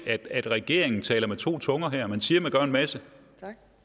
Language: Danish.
at regeringen taler med to tunger her man siger man gør en masse